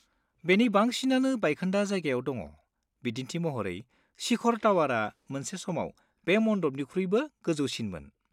बेनि बांसिनानो बायखोन्दा जायगायाव दङ, बिदिन्थि महरै, शिखर टावारा मोनसे समाव बे मन्डपनिख्रुइबो गोजौसिनमोन।